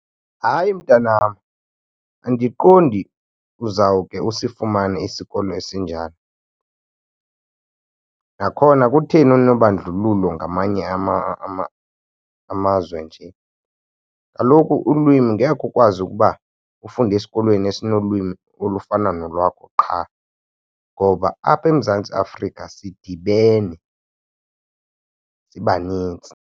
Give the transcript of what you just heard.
Hayi, mntanam, andiqondi uzawuke usifumane isikolo esinjalo. Nakhona kutheni unobandlululo ngamanye amazwe nje? Kaloku ulwimi ngeke ukwazi ukuba ufunde esikolweni esinolwimi olufana nolwakho qha ngoba apha eMzantsi Afrika sidibene, sibanintsi.